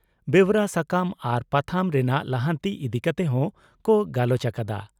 ᱵᱮᱣᱨᱟ ᱥᱟᱠᱟᱢ ᱟᱨ ᱯᱟᱛᱷᱟᱢ ᱨᱮᱱᱟᱜ ᱞᱟᱦᱟᱱᱛᱤ ᱤᱫᱤ ᱠᱟᱛᱮ ᱦᱚᱸ ᱠᱚ ᱜᱟᱞᱚᱪ ᱟᱠᱟᱫᱼᱟ ᱾